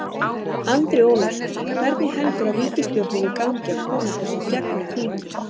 Andri Ólafsson: Hvernig heldurðu ríkisstjórninni gangi að koma þessu í gegn á þingi?